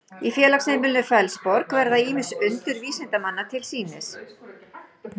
í félagsheimilinu fellsborg verða ýmis undur vísindanna til sýnis